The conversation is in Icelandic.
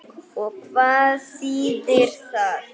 Og hvað þýðir það?